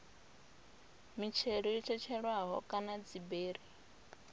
mitshelo yo tshetshelelwaho kana dziberi